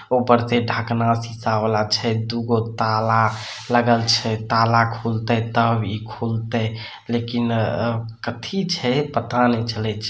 ऊपर से ढकना शीशा वाला छै दु गो ताला लगल छै ताला खुलते तब इ खुलते लेकिन अ कथी छै पता ने चले छै।